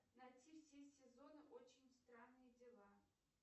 найти все сезоны очень странные дела